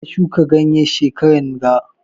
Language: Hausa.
Karka shuka ganye shekaran ga